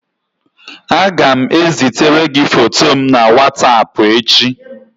Aga m ezitere gi foto m na whatapp echi